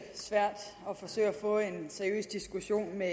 svært at forsøge at få en seriøs diskussion med